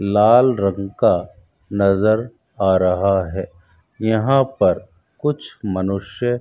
लाल रंग का नजर आ रहा है यहां पर कुछ मनुष्य --